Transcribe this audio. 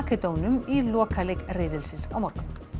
Makedónum í lokaleik riðilsins á morgun